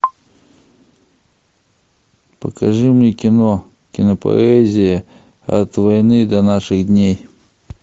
покажи мне кино кинопоэзия от войны до наших дней